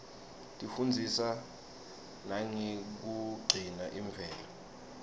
tifundzisa nangekugcina imvelo